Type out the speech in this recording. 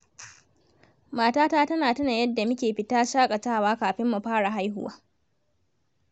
Matata tana tuna yadda muke fita shaƙatawa kafin mu fara haihuwa.